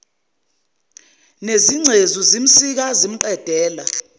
nezingcezu zimsika zimqedela